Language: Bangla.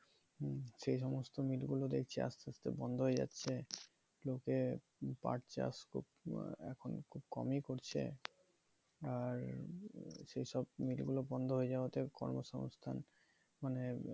হম সেই সমস্ত mill গুলো দেখছি আস্তে আস্তে বন্ধ হয়ে যাচ্ছে লোকে পাট চাষ এখন খুব কমই করছে আর সেই সব mill গুলো বন্ধ হয়ে যাওয়াতে কর্ম সঙ্গস্থান মানে